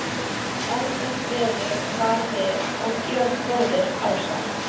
Ágætt veður var og við Georg bróðir, ásamt